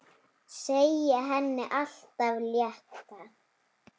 Segja henni allt af létta.